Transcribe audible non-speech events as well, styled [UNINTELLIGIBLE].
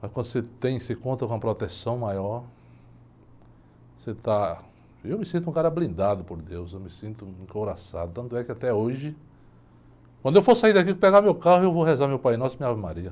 Mas quando você tem, você conta com uma proteção maior, você está... Eu me sinto um cara blindado por deus, eu me sinto, [UNINTELLIGIBLE] tanto é que até hoje, quando eu for sair daqui, pegar meu carro, eu vou rezar meu Pai Nosso e minha Ave Maria.